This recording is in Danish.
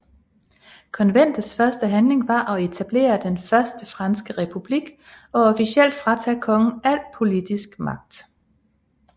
Konventets første handling var at etablere den Første Franske Republik og officielt fratage kongen al politisk magt